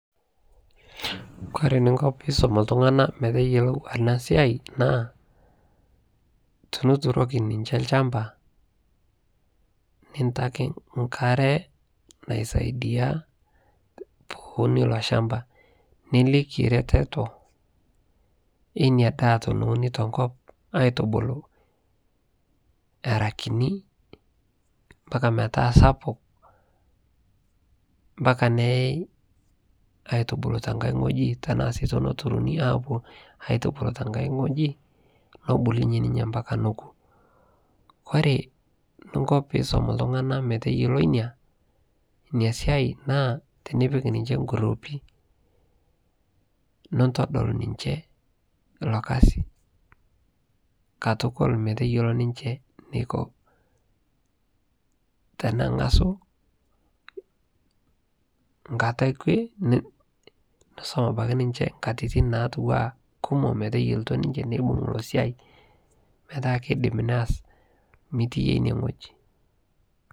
kore ninko piisom ltungana meteyolo ana siai naa tinituroki ninshe lshampa nintaki nkare naisaidia peyie eunii iloo shampaa nilikii retetoo einia daah teneuni tenkop aitubuluu eraa kinii mpaka metaa sapuk mpaka neyai aituibulu tankai nghojii nebulunyee mpaka nokuu ore ninko piisom ltungana meteyoloo inia siai naa nipik ninshe nguruupi nintodol ninshee lo kazii katukul meteyolo ninshe neiko tenangasuu nkata ekwee nisom abaki ninshe nkatitin natuwaa kumoo meteyelotoo ninshe neibug iloo siai metaa keidim neaz mitii yie inie nghojii